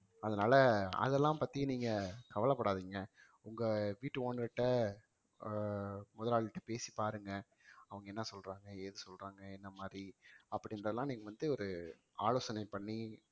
அதனால அதெல்லாம் பத்தி நீங்க கவலைப்படாதீங்க உங்க வீட்டு ஓனர்கிட்ட அஹ் முதலாளிகிட்ட பேசி பாருங்க அவங்க என்ன சொல்றாங்க ஏது சொல்றாங்க என்ன மாதிரி அப்படிங்கறதுலாம் நீங்க வந்து ஒரு ஆலோசனை பண்ணி